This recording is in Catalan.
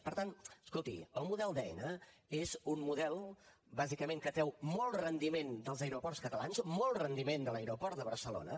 per tant escolti el model d’aena és un model bàsicament que treu molt rendiment dels aeroports catalans molt rendiment de l’aeroport de barcelona